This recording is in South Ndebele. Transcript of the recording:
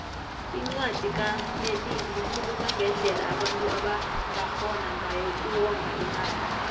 incwadi kamelili ikhuluma ngendlela abantu abangarhona ngayo uku wonga imali